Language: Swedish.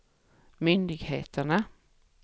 myndigheterna